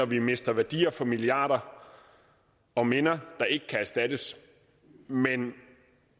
vi mister værdier for milliarder og minder der ikke kan erstattes men